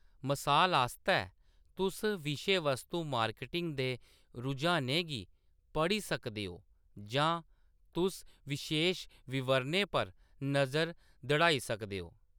मसाल आस्तै, तुस विशेवस्तु मार्केटिंग दे रुझानें गी पढ़ी सकदे ओ, जां तुस बशेश विवरणें पर नजर दड़ाई सकदे ओ।